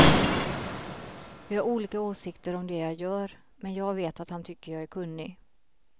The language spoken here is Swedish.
Vi har olika åsikter om det jag gör, men jag vet att han tycker jag är kunnig.